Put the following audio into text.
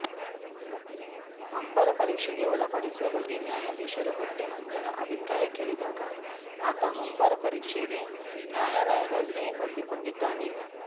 ಮಂಪರು ಪರೀಕ್ಷೆಗೆ ಒಳಪಡಿಸುವ ಬಗ್ಗೆ ನ್ಯಾಯಾಧೀಶರು ಹೊಟ್ಟೆ ಮಂಜನ ಅಭಿಪ್ರಾಯ ಕೇಳಿದಾಗ ಆತ ಮಂಪರು ಪರೀಕ್ಷೆಗೆ ನ್ಯಾಯಾಲಯದಲ್ಲೇ ಒಪ್ಪಿಕೊಂಡಿದ್ದಾನೆ